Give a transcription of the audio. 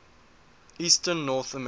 eastern north america